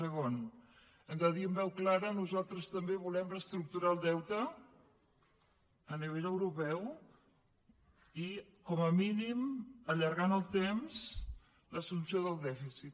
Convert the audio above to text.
segon hem de dir amb veu clara nosaltres també volem reestructurar el deute a nivell europeu i com a mínim allargar en el temps l’assumpció del dèficit